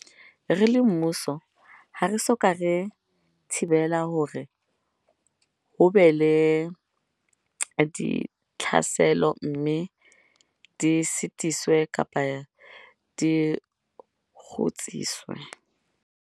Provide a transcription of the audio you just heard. Re le mmuso ha re so ka re thibela hore ho be le ditlhaselo mme di sitiswe kapa di kgutsiswe.